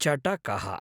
चटकः